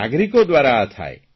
નાગરિકો દ્વારા થાય